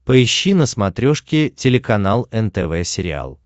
поищи на смотрешке телеканал нтв сериал